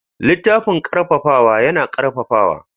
Littafin ƙarfafawa yana ƙarfafawa.